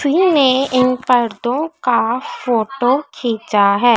ने इन परदो का फोटो खींचा है।